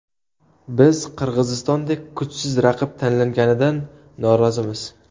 Biz Qirg‘izistondek kuchsiz raqib tanlanganidan norozimiz.